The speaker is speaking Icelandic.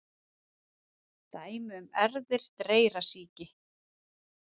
Dæmi um erfðir dreyrasýki: